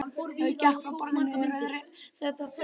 Gekk frá borðinu að rauðrósótta teppinu í betri stofunni.